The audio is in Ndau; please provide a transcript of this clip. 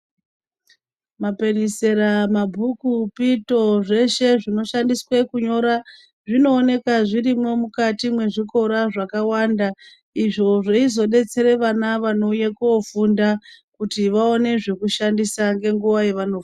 Mapenesera mabhuku pito zveshe zvinoshandiswe kunyora zvinooneka zvirimwo mukati mwezvikora zvakawanda izvo zveizodetsere ana anouye kofunda kuti vaone zvekushandisa ngenguwa yavano.